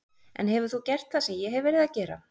En hefur þú gert það sem ég hef verið að gera?